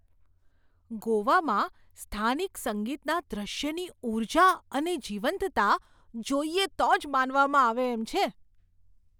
ગોવામાં સ્થાનિક સંગીતના દૃશ્યની ઊર્જા અને જીવંતતા જોઈએ તો જ માનવામાં આવે એમ છે.